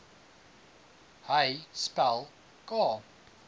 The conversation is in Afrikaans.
hy spel k